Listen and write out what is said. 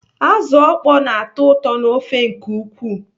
Azụ ọkpọ na-atọ ụtọ n'ofe nke ukwuu.